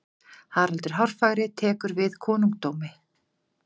haraldur hárfagri tekur við konungdómi